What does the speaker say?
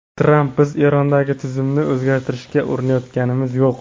Tramp: Biz Erondagi tuzumni o‘zgartirishga urinayotganimiz yo‘q.